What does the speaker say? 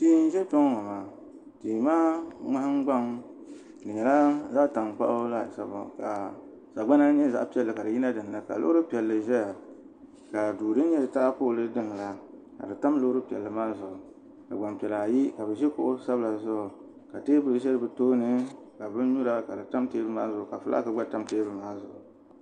Tihi n ʒɛ kpɛ ŋɔ maa tihi maa nahangbaŋ nyɛla zaɣ'tankpaɣu laasabu ka sagbana nyɛ zaɣ'piɛlli ka di yina dinni ka loori piɛlli ʒɛya ka duu din nyɛ taapooli taha la ka di tam loori piɛlli maa zuɣu ka gbaŋ piɛla ayi ka bi ʒi kuɣu sabila zuɣu ka teebuli ʒɛ bi tooni ka binnyura ka di tam teebuli maa zuɣu ka fulaki gba tamya